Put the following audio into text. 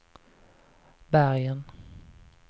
Bergen